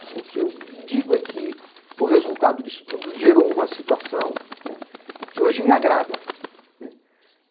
O que eu digo é que o resultado disso tudo gerou uma situação que hoje me agrada.